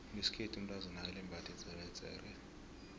ngeskhethu umtazana akalembathi idzeredzere